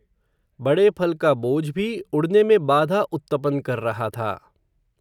बड़े फल का बोझ भी उड़ने में बाधा उत्तपन कर रहा था.